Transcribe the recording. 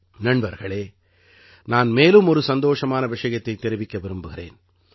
நண்பர்களே நான் மேலும் ஒரு சந்தோஷமான விஷயத்தைத் தெரிவிக்க விரும்புகிறேன்